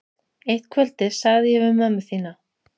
Eitt kvöldið sagði ég við mömmu þína